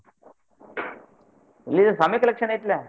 ಇಲ್ಲೇ swami collection ಐತ್ಲ್ಯಾ.